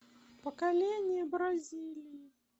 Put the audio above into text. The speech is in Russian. поколение бразилии